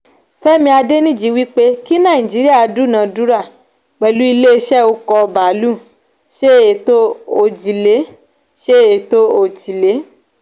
femi adeniji wípé kí naijiriya duna-dura pẹ̀lú ilé ìṣe oko baalu ṣe ètò òjìlé. ṣe ètò òjìlé.